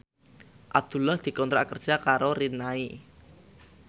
Abdullah dikontrak kerja karo Rinnai